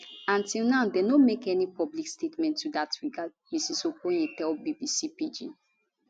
and till now dem no make any public statement to dat regard mrs okonye tell bbc pidgin